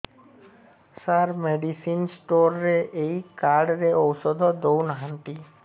ସାର medicine store ରେ ଏଇ card ରେ ଔଷଧ ଦଉନାହାନ୍ତି